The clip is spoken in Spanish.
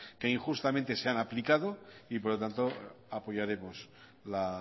que injustamente se han aplicado por lo tanto apoyaremos la